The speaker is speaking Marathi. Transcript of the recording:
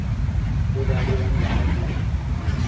तो गाडीवान झाला दूरी ।